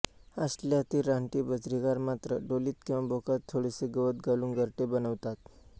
ऑस्ट्रेलियातील रानटी बजरीगार मात्र ढोलीत किंवा भोकात थोडेसे गवत घालून घरटे बनवितात